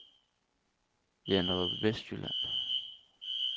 Janderup Vestjylland